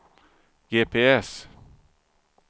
GPS